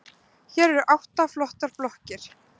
Hér eru átta flottar blokkir.